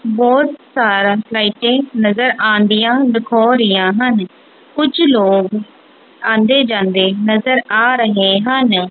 ਬਹੁਤ ਸਾਰਾ ਲਾਈਟੇ ਨਜ਼ਰ ਆਉਣ ਡੀਆਂ ਦਿਖੋ ਰਹੀਆਂ ਹਨ ਕੁਛ ਲੋਗ ਆਂਦੇ ਜਾਂਦੇ ਨਜ਼ਰ ਆ ਰਹੇ ਹਨ।